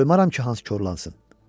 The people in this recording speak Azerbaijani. Qoymaram ki, Hans korlansın.